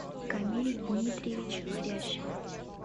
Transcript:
камиль дмитриевич хрящев